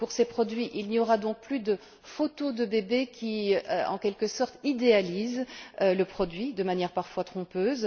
Pour ces produits, il n'y aura donc plus de photos de bébés qui, en quelque sorte, idéalisent le produit de manière parfois trompeuse.